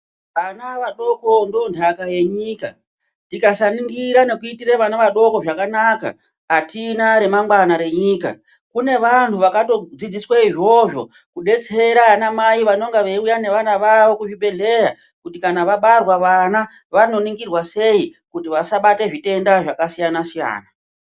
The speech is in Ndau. Vana vadoko ndoondaka yenyika. Tikasaningira nekuitire vana vadoko zvakanaka hatina remangwana renyika. Kune vanhu vakatodzidziswe izvozvo kudetsera vanamai vanenge vauya nevana vavo kuzvibhedhleya. Kuti kana vabarwa vana vanoningirwa sei kuti vasabata zvitenda zvakasiyana-siyana.